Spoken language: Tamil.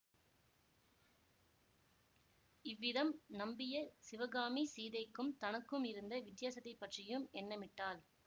இவ்விதம் நம்பிய சிவகாமி சீதைக்கும் தனக்கும் இருந்த வித்தியாசத்தைப் பற்றியும் எண்ணமிட்டாள்